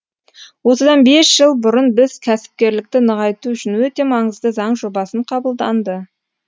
осыдан бес жыл бұрын біз кәсіпкерлікті нығайту үшін өте маңызды заң жобасын қабылданды